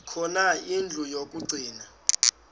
khona indlu yokagcina